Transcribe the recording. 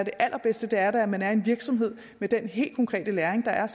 allerbedste da er at man er i en virksomhed med den helt konkrete læring der er